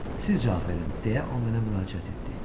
Siz cavab verin, deyə o mənə müraciət etdi.